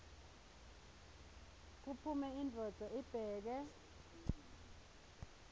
kuphume indvodza ibheke